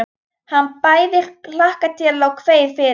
Hann bæði hlakkaði til og kveið fyrir.